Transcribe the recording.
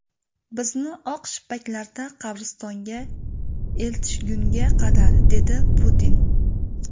Bizni oq shippaklarda qabristonga eltishgunga qadar”, dedi Putin.